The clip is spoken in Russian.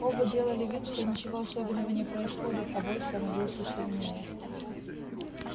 оба делали вид что ничего особенного не происходит а вой становился сильнее